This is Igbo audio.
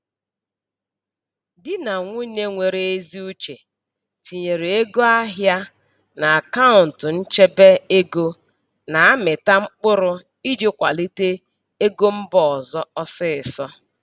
Di na nwunye nwere ezi uche tinyere ego ahịa n'akaụntụ nchebe ego na-amịta mkpụrụ iji kwalite ego mba ọzọ ọsịịsọ.